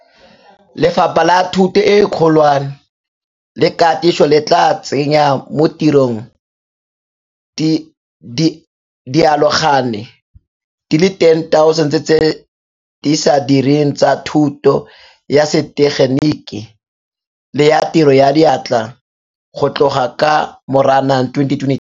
Lefapha la Thuto e Kgolwane le Katiso le tla tsenya mo tirong dialogane di le 10 000 tse di sa direng tsa thuto ya setegeniki le ya tiro ya diatla go tloga ka Moranang 2022.